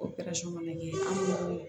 O fana kɛ an bolo